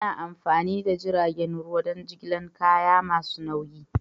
Ana amfani da jiragen ruwa don jigilar kaya masu nauyi.